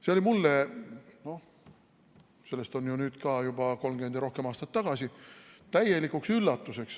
See oli mulle – sellest on ka juba 30 ja rohkem aastat tagasi – täielikuks üllatuseks.